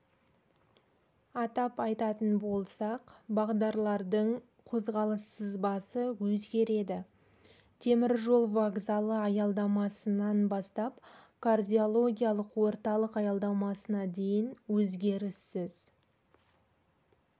атап айтатын болсақ бағдарлардың қозғалыс сызбасы өзгередітемір жол вокзалы аялдамасынан бастап кардиологиялық орталық аялдамасына дейін өзгеріссіз